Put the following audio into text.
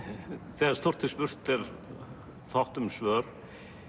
þegar stórt er spurt er fátt um svör